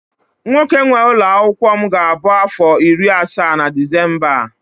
nwoke nwe ụlọ akwụkwọ m ga-abụ afọ iri asaa na Disemba a